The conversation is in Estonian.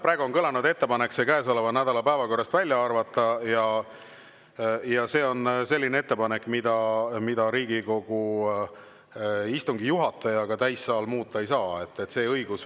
Praegu on kõlanud ettepanek käesoleva nädala päevakorrast välja arvata ja see on selline ettepanek, mida Riigikogu istungi juhataja ega täissaal muuta ei saa.